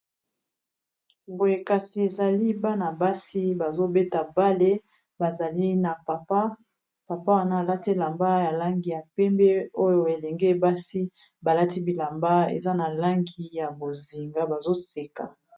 Boye kasi ezali bana basi bazobeta balle bazali na papa ,papa wana alati elamba ya langi ya pembe oyo elenge basi balati bilamba eza na langi ya bozinga bazoseka.